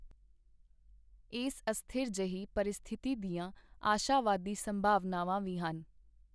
ਏਸ ਅਸਥਿਰ ਜਿਹੀ ਪਰਿਸਥਿਤੀ ਦੀਆਂ ਆਸ਼ਾਵਾਦੀ ਸੰਭਾਵਨਾਵਾਂ ਵੀ ਹਨ.